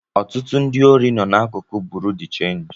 Ọtụtụ ndị órí nọ na-akuku Bureau de change